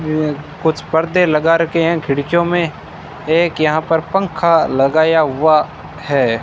ये कुछ पर्दे लगा रखे हैं खिड़कियों में एक यहां पर पंखा लगाया हुआ है।